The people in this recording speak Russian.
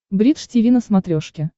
бридж тиви на смотрешке